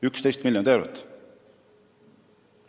11 miljonit eurot!